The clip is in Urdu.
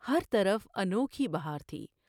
ہر طرف انوکھی بہاتی ۔